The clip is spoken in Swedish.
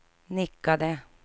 nickade